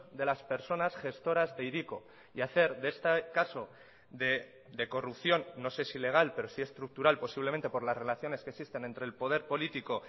de las personas gestoras de hiriko y hacer de este caso de corrupción no sé si legal pero sí estructural posiblemente por las relaciones que existen entre el poder político